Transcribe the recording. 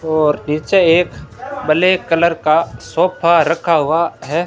और नीचे एक ब्लैक कलर का सोफा रखा हुआ है।